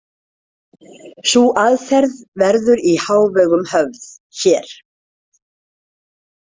Sú aðferð verður í hávegum höfð hér.